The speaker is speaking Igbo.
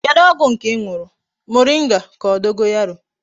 Kedu ogwu nke I nuru, moringa ka o dogorayo?